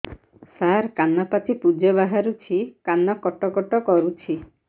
ସାର କାନ ପାଚି ପୂଜ ବାହାରୁଛି କାନ କଟ କଟ କରୁଛି